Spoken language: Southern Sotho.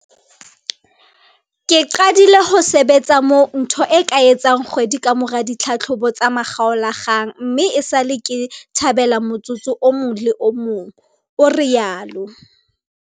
"Ke qadile ho sebetsa moo ntho e ka etsang kgwedi kamora ditlhahlobo tsa makgaolakgang mme esale ke thabela motsotso o mong le o mong," o rialo.